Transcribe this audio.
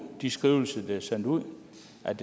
de skrivelser der er sendt ud